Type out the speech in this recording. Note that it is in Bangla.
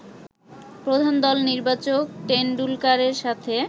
প্রধান দল নির্বাচক টেনডুলকারের সাথে